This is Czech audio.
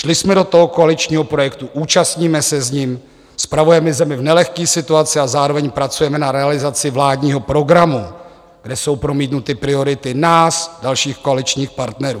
Šli jsme do toho koaličního projektu, účastníme se s ním, spravujeme zemi v nelehké situaci a zároveň pracujeme na realizaci vládního programu, kde jsou promítnuty priority nás, dalších koaličních partnerů.